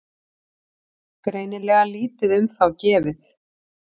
Greinilega lítið um þá gefið.